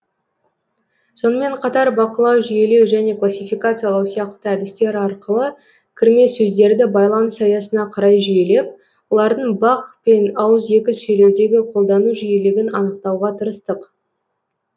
сонымен қатар бақылау жүйелеу және классификациялау сияқты әдістер арқылы кірме сөздерді байланыс аясына қарай жүйелеп олардың бақ пен ауызекі сөйлеудегі қолдану жиілігін анықтауға тырыстық